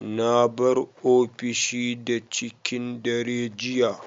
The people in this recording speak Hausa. Na bar ofishi da cikin dare jiya.